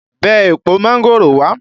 Bẹ èpo mángòrò wá!